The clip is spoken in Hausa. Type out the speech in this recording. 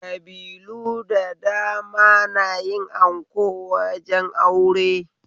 Kabilu da dama nayi anko wajen aure